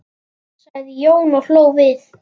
sagði Jón og hló við.